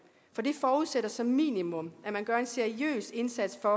for det forudsætter som minimum at man gør en seriøs indsats for